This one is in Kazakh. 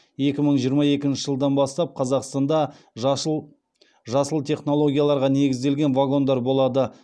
екі мың жиырма екінші жылдан бастап қазақстанда жасыл технологияларға негізделген вагондар болады